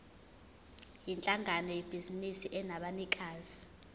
yinhlangano yebhizinisi enabanikazi